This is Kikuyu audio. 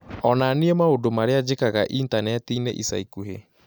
onania maũndũ marĩa njĩkaga Intaneti-inĩ ica ikuhĩ